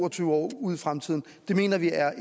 og tyve år ud i fremtiden mener vi er